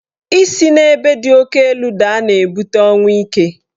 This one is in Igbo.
Isi n'ebe di oke elu daa na-ebute ọnwụ ike.